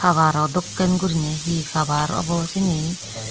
war o dokkin guriney he cover obo cini.